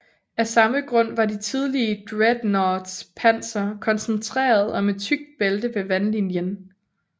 Af samme grund var de tidlige dreadnoughts panser koncentreret om et tykt bælte ved vandlinjen